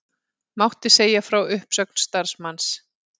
Mátti segja frá uppsögn starfsmanns